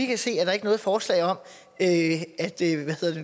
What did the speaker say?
kan se er der ikke noget forslag om at